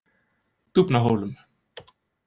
Dúfnahólum